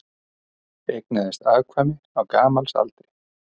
Eignaðist afkvæmi á gamalsaldri